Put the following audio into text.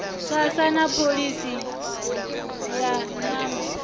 sasa na pholisi ya nyambo